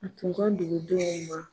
A tun ka dugu denw ma